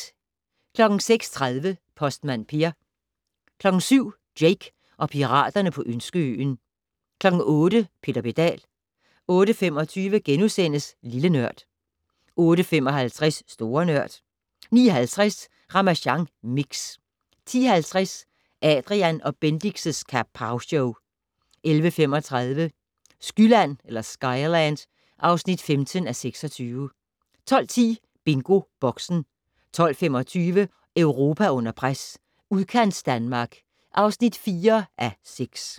06:30: Postmand Per 07:00: Jake og piraterne på Ønskeøen 08:00: Peter Pedal 08:25: Lille Nørd * 08:55: Store Nørd 09:50: Ramasjang Mix 10:50: Adrian & Bendix' Kapowshow 11:35: Skyland (15:26) 12:10: BingoBoxen 12:25: Europa under pres: Udkantsdanmark (4:6)